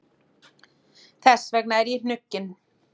Þess vegna er ég hnugginn.